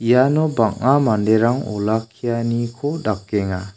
iano bang·a manderang olakkianiko dakenga.